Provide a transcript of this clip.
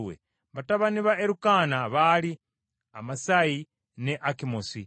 Batabani ba Erukaana baali Amasayi ne Akimosi,